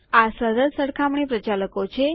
આ સરળ સરખામણી પ્રચાલકો છે